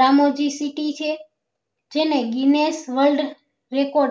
Ramoji city છે જેને guinness world record